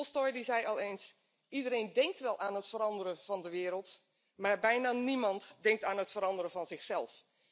Tolstoj die zei al eens Iedereen denkt wel aan het veranderen van de wereld, maar bijna niemand denkt aan het veranderen van zichzelf.